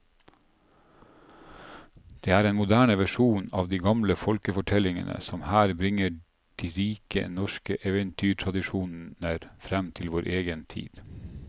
Det er en moderne versjon av de gamle folkefortellingene som her bringer de rike norske eventyrtradisjoner fram til vår egen tid.